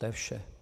To je vše.